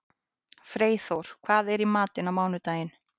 Freyþór, hvað er í matinn á mánudaginn?